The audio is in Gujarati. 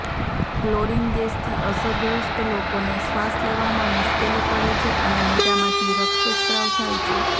ક્લોરીન ગેસથી અસરગ્રસ્ત લોકોને શ્વાસ લેવામાં મુશ્કેલી પડે છે અને મોઢામાંથી રક્ત સ્ત્રાવ થાય છે